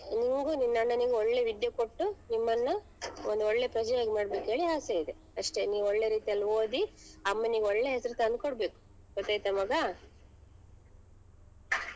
ನಿಂಗು ನಿನ್ ಅಣ್ಣನಿಗು ಒಳ್ಳೆ ವಿದ್ಯೆ ಕೊಟ್ಟು ನಿಮ್ಮನ್ನ ಒಂದ್ ಒಳ್ಳೆ ಪ್ರಜೆಯಾಗಿ ಮಾಡ್ಬೇಕ್ಹೇಳಿ ಆಸೆ ಇದೆ ಅಷ್ಟೇ ನೀವ್ ಒಳ್ಳೆ ರೀತಿಯಲ್ಲಿ ಓದಿ ಅಮ್ಮನಿಗೆ ಒಳ್ಳೆ ಹೆಸ್ರು ತನ್ಕೊಡ್ಬೇಕು ಗೊತ್ತಾಯ್ತ ಮಗಾ.